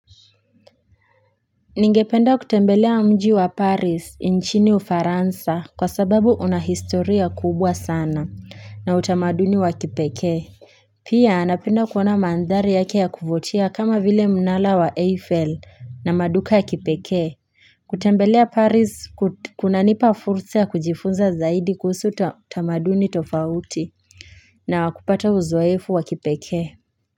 Ningependa kutembelea mji wa paris nchini ufaransa kwa sababu unahistoria kubwa sana na utamaduni wa kipeke Pia anapenda kuona mandhari yake ya kuvutia kama vile mnara wa eiffel na maduka ya kipeke kutembelea paris kunanipa fursa ya kujifunza zaidi kuhusu utamaduni tofauti na kupata uzoefu wa kipeke.